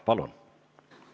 Palun!